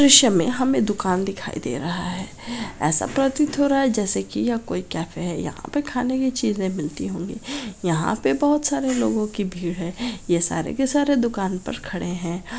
दृश्य मे हमे दुकान दिखाई दे रहा है ऐसा प्रतीत हो रहा है जैसे की यह कोई कैफै है यहाँ पर खाने की चीजे मिलती होंगी यहाँ पे बहुत सारे लोगों की भीड़ है ये सारे के सारे दुकान पर खड़े हैं ।